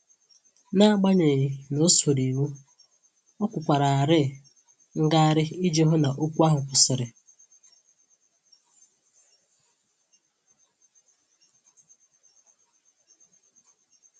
N'agbanyeghị na o soro iwu, ọ kwụkwararị ngarị iji hụ n'okwu ahụ kwụsịrị